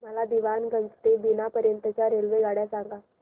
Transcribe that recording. मला दीवाणगंज ते बिना पर्यंत च्या रेल्वेगाड्या सांगा